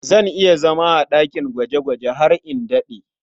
Zan iya zama a ɗakin gwaje-gwaje har in daɗe.